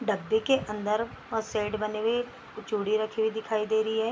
डब्बे के अंदर बहुत शेड बने हुए हैं कुछ चूड़ी रखी हुई दिखाई दे रही है।